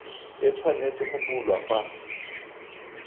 e tshwanetse go bulwa fa